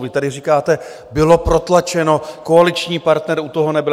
Vy tady říkáte - bylo protlačeno, koaliční partner u toho nebyl.